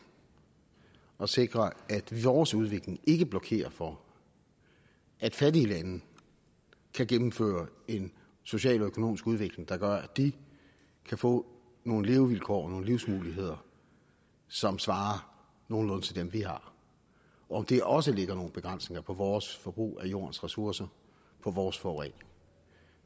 at sikre at vores udvikling ikke blokerer for at fattige lande kan gennemføre en social og økonomisk udvikling der gør at de kan få nogle levevilkår og nogle livsmuligheder som svarer nogenlunde til dem vi har og at det også lægger nogle begrænsninger på vores forbrug af jordens ressourcer på vores forurening